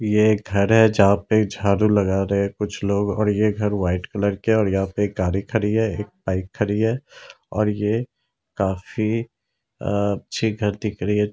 ये एक घर है जहाँ पे झाड़ू लगा रहे है कुछ लोग और ये घर वाइट कलर किया है और यहाँ पे गाडी खड़ी है एक बाइक खड़ी है और ये काफी अच्छी घर दिख रही है।